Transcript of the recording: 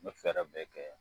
N me fɛrɛ bɛɛ kɛ